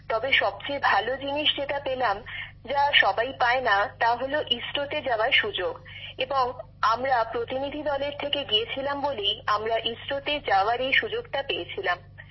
তবে সবচেয়ে ভাল জিনিস যেটি পেলাম যা সবাই পায় না তা হলো ইসরোতে যাওয়ার সুযোগ এবং আমরা প্রতিনিধি দলের থেকে গিয়েছিলাম বলেই আমরা ইসরোতে যাওয়ার এই সুযোগটা পেয়েছিলাম